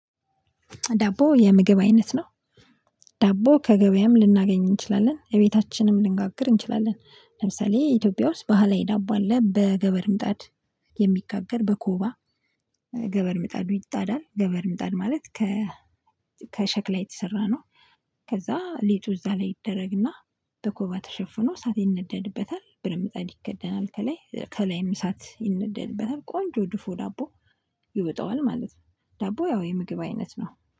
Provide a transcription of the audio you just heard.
ዳቦ የምግብ አይነት ነው። ዳቦ ከገበያም ልናገኝ እንችላለን እቤታችንም ልንጋግር እንችላለን ለምሳሌ ኢትዮጵያ ውስጥ ባህላዊ ዳቦ አለ በገበር ምጣድ የሚጋገር በኮባ ገበር ምጣዱ ይጣዳል ገበር ምጣድ ማለት ከ ከሸክላ የተሰራ ነው። ከዛ ሊጡ እዛ ላይ ይደረግና በኮባ ተሸፍኖ እሳት ይነደድበታል ብረትምጣድ ይከደናል ከላይ ከላይም እሳት ይነደድበታል ቆንጆ ድፎ ዳቦ ይወጣዋል ማለት ነው። ዳቦ ያው የምግብ አይነት ነው